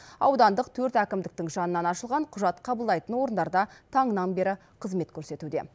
аудандық төрт әкімдіктің жанынан ашылған құжат қабылдайтын орындарда таңнан бері қызмет көрсетуде